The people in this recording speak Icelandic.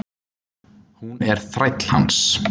Hún er þræll hans.